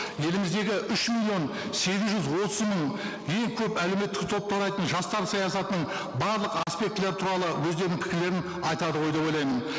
еліміздегі үш миллион сегіз жүз отыз мың ең көп әлеуметтік топты құрайтын жастар саясатының барлық аспектілері туралы өздерінің пікірлерін айтады ғой деп ойлаймын